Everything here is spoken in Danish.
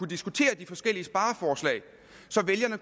diskutere de forskellige spareforslag så vælgerne